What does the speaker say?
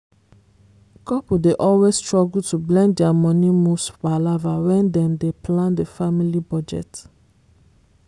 couple dey always struggle to blend their money moves palava when dem dey plan the family budget.